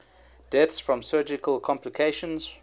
deaths from surgical complications